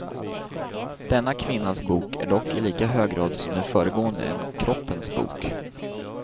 Denna kvinnas bok är dock i lika hög grad som de föregående en kroppens bok.